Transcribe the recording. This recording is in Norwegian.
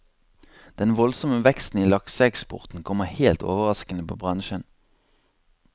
Den voldsomme veksten i lakseeksporten kommer helt overraskende på bransjen.